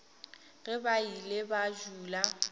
ge ba ile ba dula